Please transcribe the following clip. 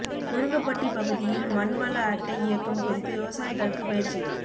முருங்கபட்டி பகுதியில் மண் வள அட்டை இயக்கம் குறித்து விவசாயிகளுக்கு பயிற்சி